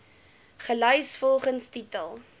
gelys volgens titel